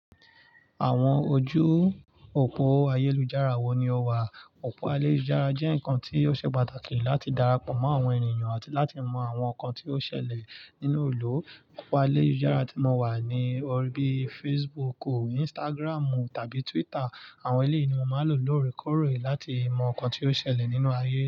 Àwọn ojú òpó ayélujára wo ni o wà? Òpó ayélujára jẹ́ nǹkan tí ó ṣe pàtàkì láti darapọ̀ mọ́ àwọn ènìyàn àti láti mọ àwọn nǹkan tí ó ṣẹlẹ̀ nínú ìlú. Òpó ayélujára tí mo wà ni orí bíi Facebook o, Instagramu tàbí Twitter. Àwọn ilé yìí ni mo máa ń lò lóòrèkóòrè láti mọ nǹkan tí ó ṣẹlẹ̀ nínú ayé.